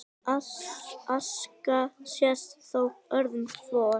Aska sést þó öðru hvoru